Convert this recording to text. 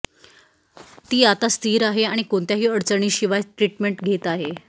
ती आता स्थिर आहे आणि कोणत्याही अडचणींशिवाय ट्रिटमेंट घेत आहे